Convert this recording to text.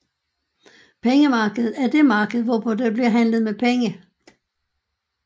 Pengemarkedet er det marked hvorpå der bliver handlet med penge